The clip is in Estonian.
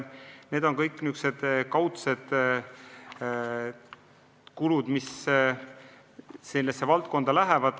Need on kõik sellised kaudsed eraldised, mis sellesse valdkonda lähevad.